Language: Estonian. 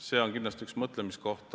See on kindlasti üks mõtlemiskohti.